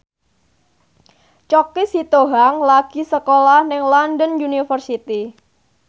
Choky Sitohang lagi sekolah nang London University